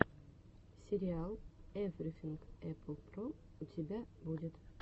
сериал эврифинг эппл про у тебя будет